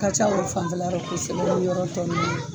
Ka ca o fan larɔ kosɛbɛ ni yɔrɔ ninnu na.